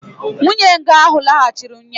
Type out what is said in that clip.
nwunye nga anụ laghachiri ụnyaahụ